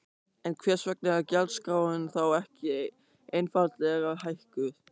En hvers vegna er gjaldskráin þá ekki einfaldlega hækkuð?